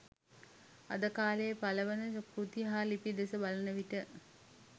අද කාලයේ පළ වන කෘති හා ලිපි දෙස බලන විට